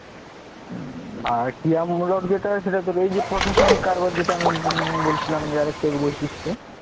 আর ক্রিয়ামূলক যেটা, সেটা তোর এই যে প্রশাসনিক কারবার উম যেটা আমি বলছিলাম যে আর একটু আগে বিশিষ্ট